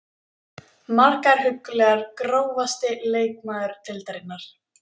Margar huggulegar Grófasti leikmaður deildarinnar?